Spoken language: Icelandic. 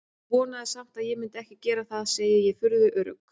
Þú vonaðir samt að ég myndi ekki gera það, segi ég, furðu örugg.